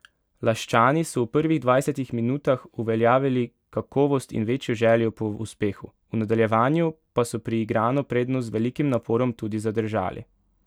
Laščani so v prvih dvajsetih minutah uveljavili kakovost in večjo željo po uspehu, v nadaljevanju pa so priigrano prednost z velikim naporom tudi zadržali.